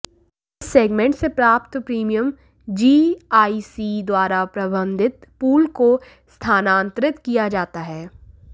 इस सेगमेंट से प्राप्त प्रीमियम जीआईसी द्वारा प्रबंधित पूल को स्थानांतरित किया जाता है